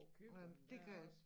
Nåh men det kan også